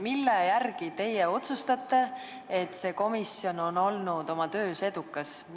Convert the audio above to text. Mille järgi te otsustate, kas see komisjon on olnud oma töös edukas?